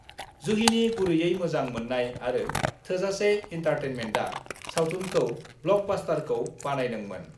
जुहिनि गुरैयै मोजां मोननाय आरो थोजासे एन्टारटेनमेन्टआ सावथुनखौ ब्लकबास्यरखौ बानायदोमोन।